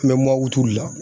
An bɛ de la